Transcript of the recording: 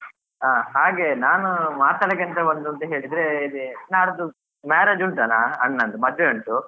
ಹಾ ಹಾಗೆ ನಾನು ಮಾತಾದಕ್ಕೆಂತ ಬಂದದ್ದು ಹೇಳಿದ್ರೆ ನಾಡ್ದು ಇದೇ marriage ಉಂಟನ ಅಣ್ಣಂದು ಮದುವೆ ಉಂಟು.